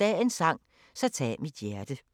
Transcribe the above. Dagens sang: Så tag mit hjerte *